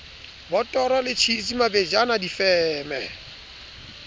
botoro le tjhisi mabejana difeme